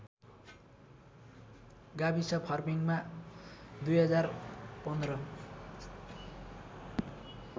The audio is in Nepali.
गाविस फर्पिङमा २०१५